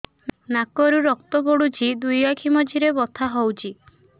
ନାକରୁ ରକ୍ତ ପଡୁଛି ଦୁଇ ଆଖି ମଝିରେ ବଥା ହଉଚି